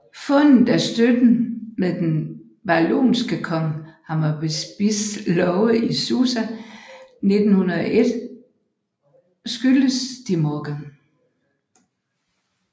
Fundet af støtten med den babylonske konge Hammurabis love i Susa 1901 skyldes de Morgan